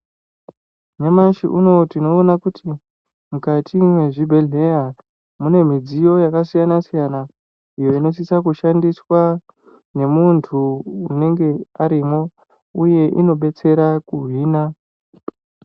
Nyamashi unowu tinoona kuti mukati mwezvibhedhlera mune midziyo yakasiyana-siyana iyo inosisa kushandiswa nemuntu unenge arimwo uye inobetsera kuhina.